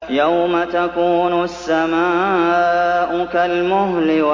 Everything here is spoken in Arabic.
يَوْمَ تَكُونُ السَّمَاءُ كَالْمُهْلِ